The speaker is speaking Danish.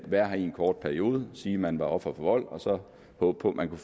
være her i en kort periode og sige at man var offer for vold og så håbe på at man